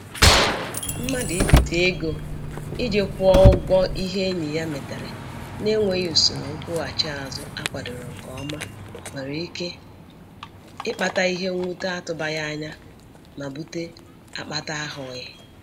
Mmadụ ibite ego iji kwuo ụgwọ ihe enyi ya metere na-enweghi usoro nkwụghachi azụ akwadoro nke ọma nwere ike ịkpata ihe mwute atụbaghị anya ma bute akpata ahụghị.